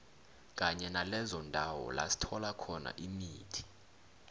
kanye nalezo ndawo lasithola khona imithi